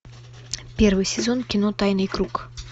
первый сезон кино тайный круг